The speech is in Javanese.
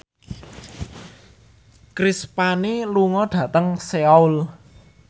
Chris Pane lunga dhateng Seoul